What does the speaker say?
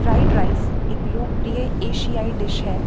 Fried rice एक लोकप्रिय एशियाई डिश है।